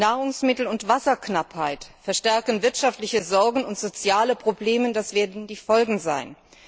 Nahrungsmittel und Wasserknappheit verstärken wirtschaftliche Sorgen, und soziale Probleme werden die Folge sein.